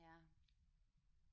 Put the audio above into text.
Ja